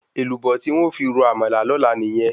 Èlùbọ́ tí n̄ ó fi ro àmàlà lọ́la nìyẹn.